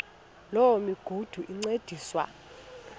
loo migudu encediswa